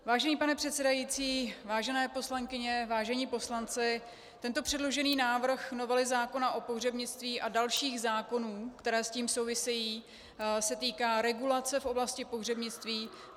Vážený pane předsedající, vážené poslankyně, vážení poslanci, tento předložený návrh novely zákona o pohřebnictví a dalších zákonů, které s tím souvisejí, se týká regulaci v oblasti pohřebnictví.